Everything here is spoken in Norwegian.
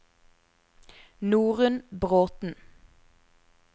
Norunn Bråthen